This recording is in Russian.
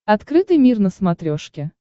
открытый мир на смотрешке